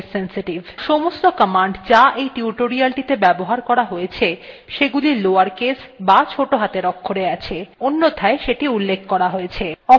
সমস্ত commands যা এই টিউটোরিয়ালটিতে ব্যবহার করা হয়ছে সেগুলি lower case বা ছোটো হাতের অক্ষরে আছে অন্যথায় সেটি উল্লেখ করা হয়েছে